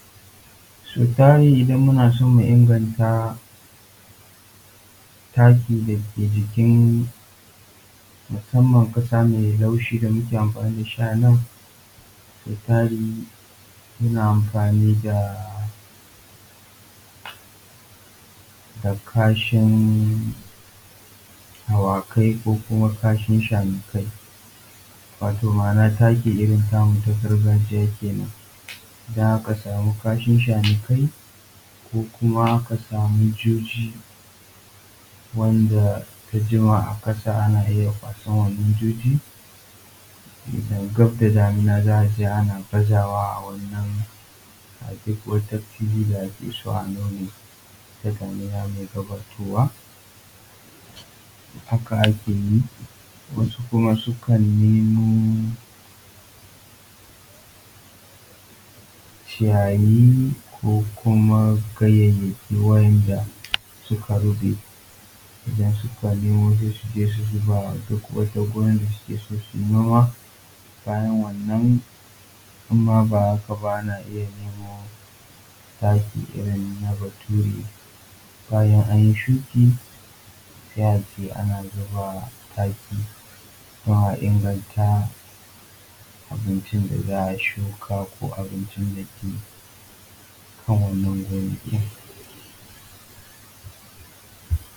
Sau tari idan muna son mu inganta taki da ke jikin musaman ƙasa mai laushi da muke amfani da shi anan, sau tari muna amfanin da kashin awakai, ko kuma kashin shanikai. Wato ma'ana taki irin tamu ta gargajiya kenan, idan aka samu kashin shanikai, ko kuma aka samu juji wanda ta jima a ƙasa, ana iya kwasan wannan jujin idan gab da damuna za a je ana bazawa a wannan, a duk wata fili da ake so a nome. Gab da damuna mai gabatowa haka ake yi. Wasu kuma sukan nemo ciyayi ko kuma ganyayaki wa'inda suka ruɓe idan suka nemo sai su je su zuba wa duk wata gonan da suke so suje suyi noma, bayana wannan imma ba haka ba ana iya nemo taki irin na bature, bayan an yi shuki, sai a je ana zuba taki don a inganta abincin da za a shuka ko abincin da ke kan wannan gonakin.